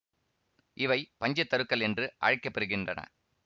இவை பஞ்ச தருக்கள் என்று அழைக்கப்பெறுகின்றன